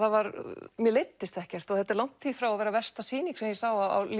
mér leiddist ekkert og þetta er langt því frá að vera versta sýning sem ég sá á